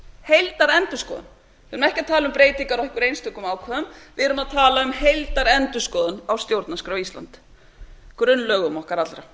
heildarendurskoðun við erum ekki að tala um breytingar á einhverjum einstökum ákvæðum við erum að tala um heildarendurskoðun á stjórnarskrá íslands grunnlögum okkar allra